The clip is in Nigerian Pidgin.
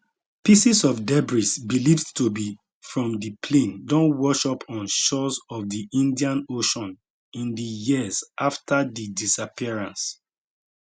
pieces of debris believed to be from di plane don wash up on shores of di indian ocean in di years afta di disappearance